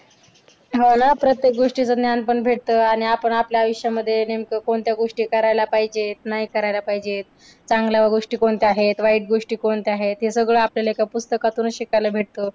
हो ना. प्रत्येक गोष्टीचं ज्ञान पण भेटतं आणि आपण आपल्या आयुष्यामध्ये नेमकं कोणत्या गोष्टी करायला पाहिजेत, नाही करायला पाहिजेत, चांगल्या गोष्टी कोणत्या आहेत, वाईट गोष्टी कोणत्या आहेत हे सगळं आपल्याला एका पुस्तकातुनचं शिकायला भेटतं.